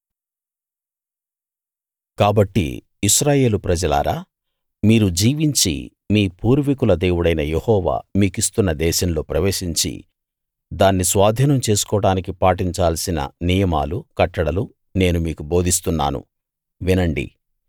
కాబట్టి ఇశ్రాయేలు ప్రజలారా మీరు జీవించి మీ పూర్వీకుల దేవుడైన యెహోవా మీకిస్తున్న దేశంలో ప్రవేశించి దాన్ని స్వాధీనం చేసుకోవడానికి పాటించాల్సిన నియమాలు కట్టడలు నేను మీకు బోధిస్తున్నాను వినండి